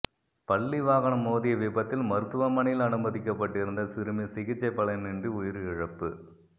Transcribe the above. பள்ளி வாகனம் மோதிய விபத்தில் மருத்துவமனையில் அனுமதிக்கப்பட்டிருந்த சிறுமி சிகிச்சை பலனின்றி உயிரிழப்பு